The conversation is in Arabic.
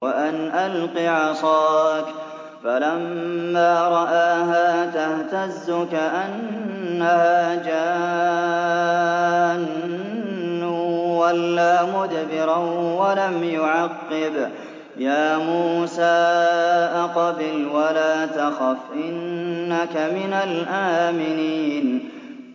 وَأَنْ أَلْقِ عَصَاكَ ۖ فَلَمَّا رَآهَا تَهْتَزُّ كَأَنَّهَا جَانٌّ وَلَّىٰ مُدْبِرًا وَلَمْ يُعَقِّبْ ۚ يَا مُوسَىٰ أَقْبِلْ وَلَا تَخَفْ ۖ إِنَّكَ مِنَ الْآمِنِينَ